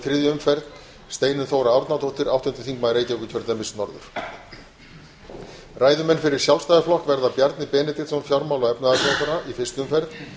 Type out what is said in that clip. þriðju umferð steinunn þóra árnadóttir áttundi þingmaður reykjavíkurkjördæmis norður ræðumenn fyrir sjálfstæðisflokk verða bjarni benediktsson fjármála og efnahagsráðherra í fyrstu umferð